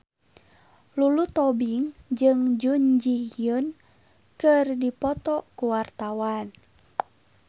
Lulu Tobing jeung Jun Ji Hyun keur dipoto ku wartawan